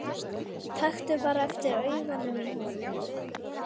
Taktu bara eftir augunum í honum.